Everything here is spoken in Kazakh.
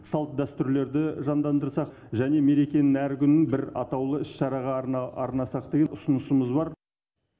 салт дәстүрлерді жандандырсақ және мерекенің әр күнін бір атаулы іс шараға арнасақ деген ұсынысымыз бар